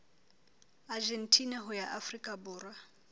argentina ho ya afrika borwa